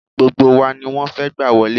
Gbogbo wa ni wọ́n fẹ́ gbà wọlé